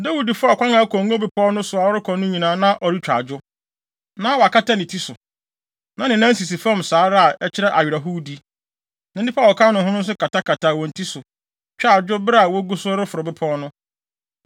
Dawid faa ɔkwan a ɛkɔ Ngo Bepɔw so no so a ɔrekɔ no nyinaa, na ɔretwa adwo. Na wakata ne ti so, na ne nan sisi fam saa ara a ɛkyerɛ awerɛhowdi. Na nnipa a wɔka ne ho no nso katakataa wɔn ti so, twaa adwo bere a wogu so reforo bepɔw no.